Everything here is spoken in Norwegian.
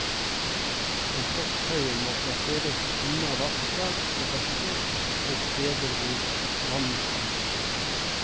Komposthaugen må plasseres unna vassdrag og bekker og steder hvor vann samler seg.